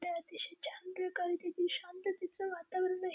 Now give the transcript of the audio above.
ते अतिशय छान प्रकारे तिथे शांततेचे वातावरण आहे.